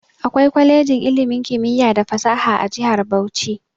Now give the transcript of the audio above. Akwai kwalejin ilimin kimiyya da fasaha a jihar Bauchi.